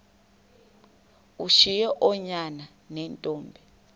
ushiye oonyana neentombi